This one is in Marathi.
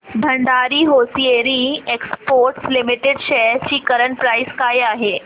Bhandari hosiery exports limited shares ची करंट प्राइस काय आहे